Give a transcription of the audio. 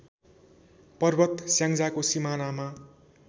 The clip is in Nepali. पर्वत स्याङ्जाको सिमानामा